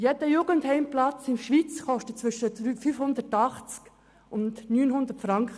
Jeder geschlossene Jugendheimplatz in der Schweiz kostet zwischen 580 und 900 Franken.